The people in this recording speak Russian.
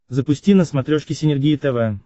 запусти на смотрешке синергия тв